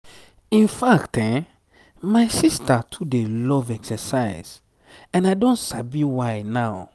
in fact my sister too dey love exercise and i don sabi why now.